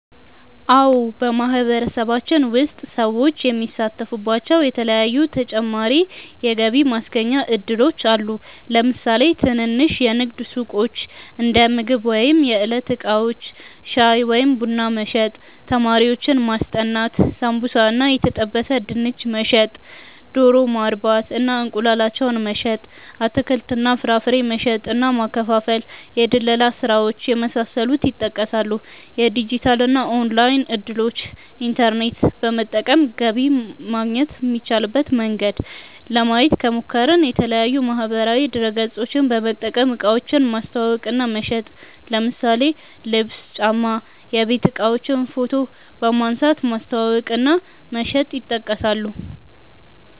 አዎ በማህበረሰባችን ውስጥ ሰዎች የሚሳተፉባቸዉ የተለያዪ ተጨማሪ የገቢ ማስገኛ እድሎች አሉ። ለምሳሌ ትንንሽ የንግድ ሱቆች(እንደምግብ ወይም የዕለት እቃዎች) ፣ ሻይ ወይም ቡና መሸጥ፣ ተማሪዎችን ማስጠናት፣ ሳምቡሳ እና የተጠበሰ ድንች መሸጥ፣ ዶሮ ማርባት እና እንቁላላቸውን መሸጥ፣ አትክልት እና ፍራፍሬ መሸጥ እና ማከፋፈል፣ የድለላ ስራዎች የመሳሰሉት ይጠቀሳሉ። የዲጂታል እና ኦንላይን እድሎችን( ኢንተርኔት በመጠቀም ገቢ ማግኘት የሚቻልበት መንገድ) ለማየት ከሞከርን፦ የተለያዪ ማህበራዊ ድረገፆችን በመጠቀም እቃዎችን ማስተዋወቅ እና መሸጥ ለምሳሌ ልብስ፣ ጫማ፣ የቤት እቃዎችን ፎቶ በመንሳት ማስተዋወቅ እና መሸጥ ይጠቀሳሉ።